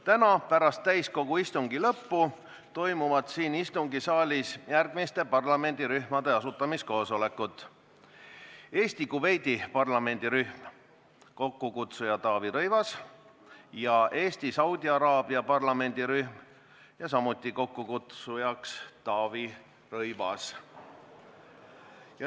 Täna pärast täiskogu istungi lõppu toimuvad siin istungisaalis järgmiste parlamendirühmade asutamiskoosolekud: Eesti-Kuveidi parlamendirühm, kokkukutsuja Taavi Rõivas, ja Eesti – Saudi Araabia parlamendirühm, samuti kokkukutsuja Taavi Rõivas.